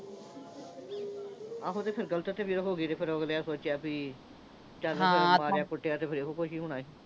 ਆਹੋ ਇਹ ਤੇ ਫਿਰ ਗਲਤ ਤੇ ਫਿਰ ਹੋਗੀ ਤੇ ਫਿਰ ਅਗਲਿਆਂ ਨੇ ਸੋਚਿਆ ਵੀ ਚਲ ਭਾਈ ਮਾਰਿਆ-ਕੁੱਟਿਆ ਤੇ ਫਿਰ ਇਹੋ ਕੁਸ਼ ਹੀ ਹੋਣਾ ਸੀ।